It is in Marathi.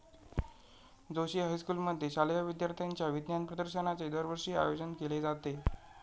जोशी हायस्कुलमध्ये शालेय विद्यार्थ्यांच्या विज्ञान प्रदर्शनाचे दरवर्षी आयोजन केले जाते.